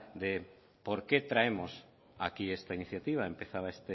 de por qué traemos aquí esta iniciativa empezaba